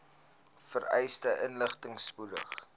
vereiste inligting spoedig